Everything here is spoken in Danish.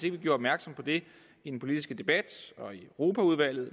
ikke gjorde opmærksom på det i den politiske debat i europaudvalget og